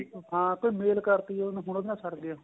ਹਾਂ ਕੋਈ mail ਕਰਤੀ ਏ ਹੁਣ ਉਹਦੇ ਨਾਲ ਸਰ ਗਿਆ